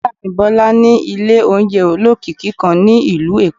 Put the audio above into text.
Ìyáàfín bola ni ilé oúnjẹ ólọkíkí kan ni ilú Èko